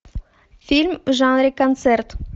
фильм в жанре концерт